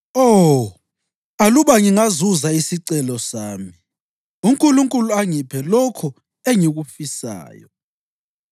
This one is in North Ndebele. Oh, aluba ngingazuza isicelo sami, uNkulunkulu angiphe lokho engikufisayo,